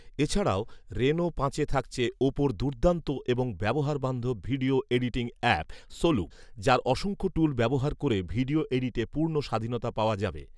এছাড়াও, রেনো পাঁচে থাকছে ওপোর দুর্দান্ত এবং ব্যবহারবান্ধব ভিডিও এডিটিং অ্যাপ ‘সোলুপ’, যার অসংখ্য টুল ব্যবহার করে ভিডিও এডিটে পূর্ণ স্বাধীনতা পাওয়া যাবে